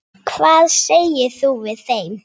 Hvað segir þú við þeim?